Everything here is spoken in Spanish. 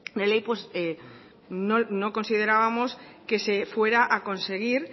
de ley pues no considerábamos que se fuera a conseguir